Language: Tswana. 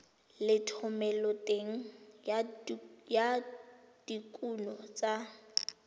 le thomeloteng ya dikuno tsa